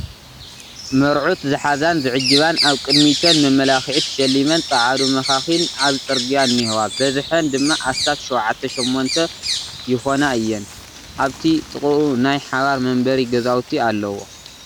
መርዑት ዝሓዛን ዝዕጅባን ኣብ ቕድሚተን መመላኽ'ዒ ተሸሊመን ፃዓዱ መኻኺን ኣብ ፅርግያ እንሄዋ በዝሓን ድማ ኣስታት ሸውዓተ ሸሞንተ ይኾና እየን ፡ ኣብቲ ጥቕኡ ናይ ሓባር መንበሪ ገዛውቲ ኣለዎ ።